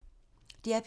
DR P3